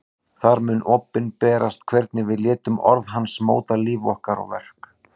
Þar mun opinberast hvernig við létum orð hans móta líf okkar og verk.